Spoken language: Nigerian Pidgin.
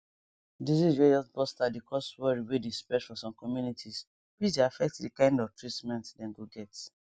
disease way just burst out dey cause worry way dey spread for some communities which dey affect the kind of treatment dem go get